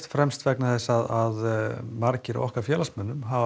fremst vegna þess að margir af okkar félagsmönnum hafa